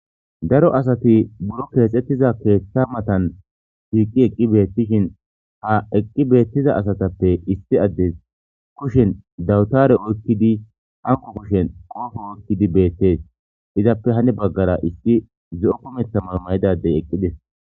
daro asati buro keexettiza keeththa matan shiiqi eqqi beettishin ha eqqi beettiza asatappe issi addes kushen dawutare oykkidi anko kushen qoofo oykkidi beettees izappe hani baggara issi ze7o kumetha man mayidadey eqqidis